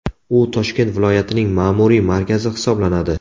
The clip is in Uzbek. U Toshkent viloyatining ma’muriy markazi hisoblanadi.